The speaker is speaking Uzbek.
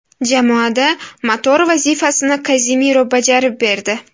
Jamoada motor vazifasini Kazemiro bajarib berdi.